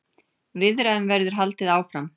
Viðræðum verður haldið áfram.